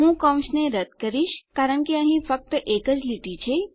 હું કૌંસને રદ્દ કરીશ કારણ કે અહીં ફક્ત એક જ લીટી છે